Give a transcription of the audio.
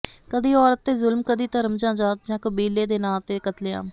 ਕਦੀ ਔਰਤ ਤੇ ਜੁਲਮ ਕਦੀ ਧਰਮ ਜਾਂ ਜਾਤ ਜਾਂ ਕਬੀਲੇ ਦੇ ਨਾਂ ਤੇ ਕਤਲਾਮ